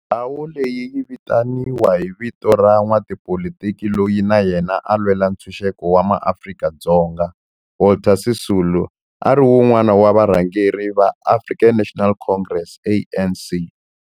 Ndhawo leyi yi vitaniwa hi vito ra n'watipolitiki loyi na yena a lwela ntshuxeko wa maAfrika-Dzonga Walter Sisulu, a ri wun'wana wa varhangeri va African National Congress, ANC.